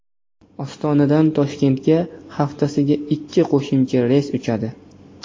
Ostonadan Toshkentga haftasiga ikkita qo‘shimcha reys uchadi.